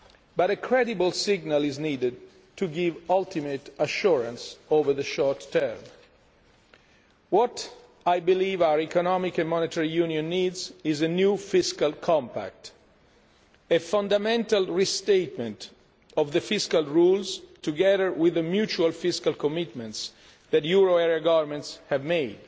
But a credible signal is needed to give ultimate assurance over the short term. What I believe our economic and monetary union needs is a new fiscal compact a fundamental restatement of the fiscal rules together with the mutual fiscal commitments that euro area governments have